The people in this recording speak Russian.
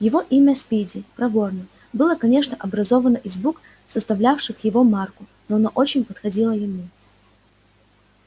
его имя спиди проворный было конечно образовано из букв составлявших его марку но оно очень подходило ему